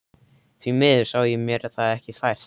Því miður sá ég mér það ekki fært.